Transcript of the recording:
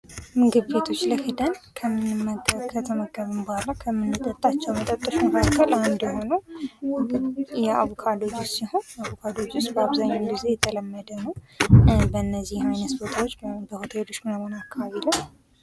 ምግብ ቤቶች ላይ ምግብ ከበላን በኋላ ከምንጠጣቸው መጠጦች መካከል አንዱ የሆነው የአቡካዶ ጁስ ሲሆን አቡካዶ ጁስ አብዛኛውን ጊዜ የተለመደ ነው። በነዚህ አይነት ቦታዎች በሆቴሎች አካባቢ ላይ።